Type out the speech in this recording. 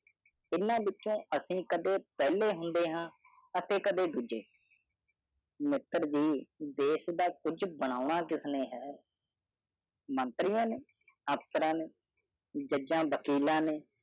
ਤੀਨਾ ਵੀਚੋ ਅਸੀਂ ਕਦੇ ਪਹਿਲੇ ਹੁੰਦੇ ਹਾਂ ਅਤੇ ਕਦੇ ਦੂਜੇ ਮਤਲਵ ਇਹ ਦੇਸ਼ ਦਾ ਕੁਛ ਬਣਾਉਣਾ ਕਿਸਨੇ ਹੈ ਮੰਤਰੀਆਂ ਨੇ ਅਫਸਰਾ ਨੇ ਜਜਾਂ ਵਕੀਲਾ ਨੇ